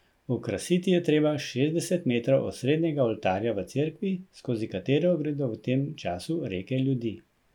Okrasiti je treba šestdeset metrov osrednjega oltarja v cerkvi, skozi katero gredo v tem času reke ljudi.